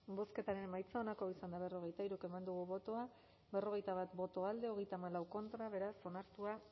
bozketaren emaitza onako izan da hirurogeita hamabost eman dugu bozka berrogeita bat boto alde treinta y cuatro contra beraz onartua